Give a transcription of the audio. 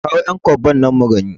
Ka kawo ƴan kwabban nan mugani